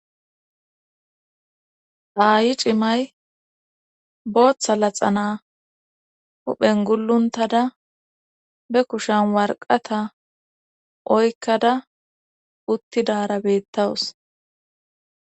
aayi cimay booththa laxana huphen gulluntada be kushan warqata oykkada uttidara bettawus